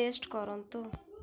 test କରନ୍ତୁ